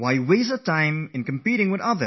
Why don't we compete with ourselves